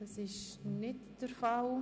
– Das ist nicht der Fall.